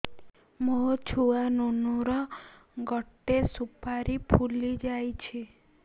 ମୋ ଛୁଆ ନୁନୁ ର ଗଟେ ସୁପାରୀ ଫୁଲି ଯାଇଛି